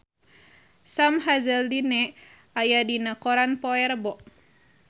Sam Hazeldine aya dina koran poe Rebo